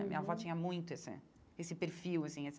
Minha avó tinha muito esse esse perfil, assim, essa...